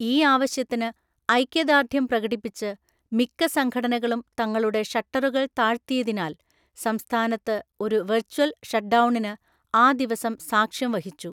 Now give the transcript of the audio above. ഈ ആവശ്യത്തിന് ഐക്യദാർഢ്യം പ്രകടിപ്പിച്ച് മിക്ക സംഘടനകളും തങ്ങളുടെ ഷട്ടറുകൾ താഴ്ത്തിയതിനാൽ സംസ്ഥാനത്ത് ഒരു വെർച്വൽ ഷട്ട്ഡൗണിന് ആ ദിവസം സാക്ഷ്യം വഹിച്ചു.